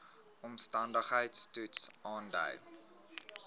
omstandigheids toets aandui